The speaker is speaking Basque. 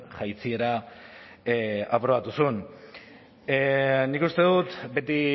jaitsiera aprobatu zuen nik uste dut beti